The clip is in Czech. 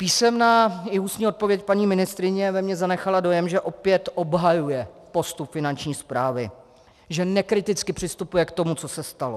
Písemná i ústní odpověď paní ministryně ve mně zanechala dojem, že opět obhajuje postup Finanční správy, že nekriticky přistupuje k tomu, co se stalo.